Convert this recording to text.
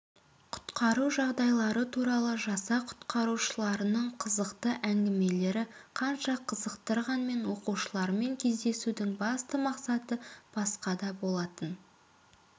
құтқару жағдайлары туралы жасақ құтқарушыларының қызықты әңгімелері қанша қызықтырғанмен оқушылармен кездесудің басты мақсаты басқада болатын